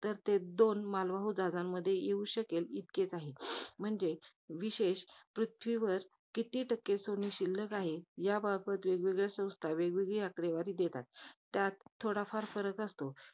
तर ते दोन मालवाहू जहाजांमध्ये येऊ शकेल, इतकेच आहे. म्हणजे, विशेष पृथ्वीवर किती टक्के सोने शिल्लक आहे, याबाबत वेगवेगळ्या संस्था, वेगवेगळी आकडेवारी देतात. त्यात थोडाफार फरक असतो.